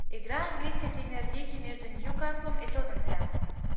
игра английской премьер лиги между ньюкаслом и тоттенхэмом